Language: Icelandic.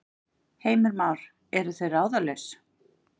Heimir Már: Eru þau ráðalaus?